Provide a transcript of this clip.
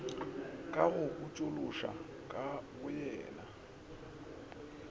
ka go botšološoša ka boyena